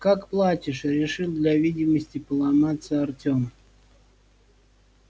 как платишь решил для видимости поломаться артём